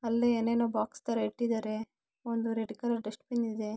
ಅಲ್ಲೇ ಏನೇನೋ ಬಾಕ್ಸ್ ತರ ಇಟ್ಟಿದ್ದಾರೆ ಹಾಗೆ ಒಂದು ರೆಡ್ ಕಲರ್ ಡಸ್ಟ್ ಬಿನ್ ಇದೆ.